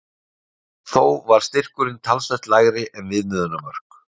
Þó var styrkurinn talsvert lægri en viðmiðunarmörk.